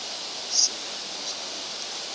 seven years war